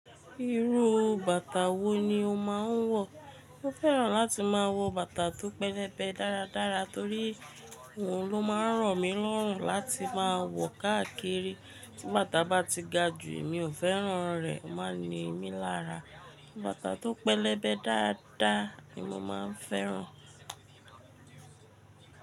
Irú bàtà wo ni o máa ń wọ̀? Mo fẹ́ràn láti máa wọ bàtà tó pẹlẹbẹ dáradára torí òun ló máa ń ràn mí lọ́rùn láti máa wọ̀ káàkiri. Tí bàtà bá ti ga jù, mi ò fẹ́ràn rẹ̀, ó máa ń ni mí lára. Bàtà tó pẹlẹbẹ dáadáa ni mo máa ń fẹ́ràn.